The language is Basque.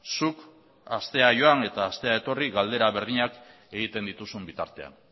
zuk astea joan eta aste etorri galdera berdinak egiten dituzun bitartean